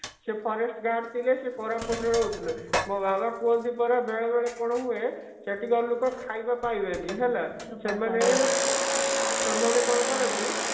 ସେ forest guard ରେ ଥିଲେ ସେ କୋରାପୁଟ ରେ ରହୁଥିଲେ ମୋ ବାବା କୁହନ୍ତି ପରା ବେଳେବେଳେ କଣ ହୁଏ ସେଠିକାର ଲୋକ ଖାଇବା ପାଇବେନି ହେଲା ତ ସେମାନେ କଣ କରନ୍ତି